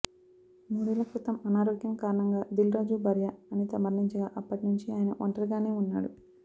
మూడేళ్ళ క్రితం అనారోగ్యం కారణంగా దిల్రాజు భార్య అనిత మరణించగా అప్పటి నుంచి ఆయన ఒంటరిగానే ఉన్నాడు